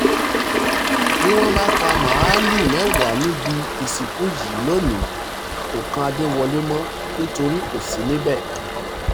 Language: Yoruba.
bí wọ́n bá pa màálùú mẹ́wàá níbi ìsìnkú yìí lónìí kò kan adéwọlẹ̀ mọ́ nítorí kò sí níbẹ̀